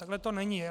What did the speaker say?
Takhle to není.